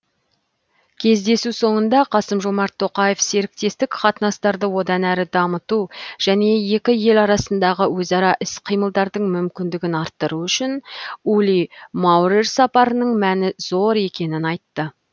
кездесу соңында қасым жомарт тоқаев серіктестік қатынастарды одан әрі дамыту және екі ел арасындағы өзара іс қимылдардың мүмкіндігін арттыру үшін ули маурер сапарының мәні зор екенін айтты